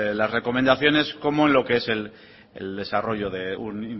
las recomendaciones como en lo que es el desarrollo de un